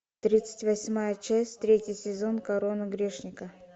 тридцать восьмая часть третий сезон корона грешника